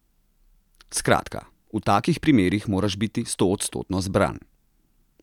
Skratka, v takih primerih moraš biti stoodstotno zbran.